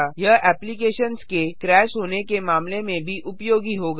यह एप्लिकेशन्स के क्रैश होने के मामले में भी उपयोगी होगा